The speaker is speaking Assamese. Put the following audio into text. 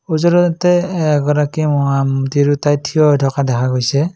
এ এগৰাকী অ আম তিৰোতাই থিয় হৈ থকা দেখা গৈছে।